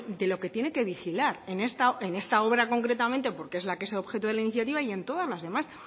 de lo que tiene que vigilar en esta obra concretamente porque es la que es objeto de la iniciativa y en todas las demás